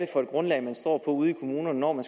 for et grundlag man står på ude i kommunerne når man